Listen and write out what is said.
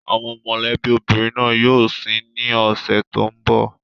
Àwọn mọ̀lẹ́bí obìnrin náà yóò sin ín ní ọ̀sẹ̀ tó ń bọ̀.